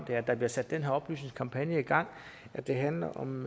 at der bliver sat den her oplysningskampagne i gang det handler om